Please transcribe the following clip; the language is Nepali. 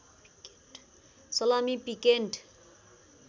salami piccante